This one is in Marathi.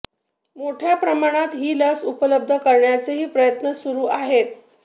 मोठ्या प्रमाणात ही लस उपलब्ध करण्याचेही प्रयत्न सुरू आहेत